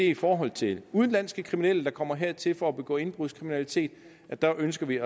i forhold til udenlandske kriminelle der kommer hertil for at begå indbrudskriminalitet der ønsker vi